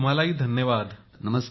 तुम्हालाही धन्यवाद मोदी जी